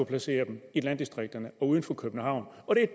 placere dem i landdistrikterne og uden for københavn